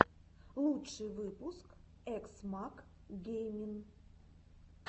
лучший выпуск экс мак геймин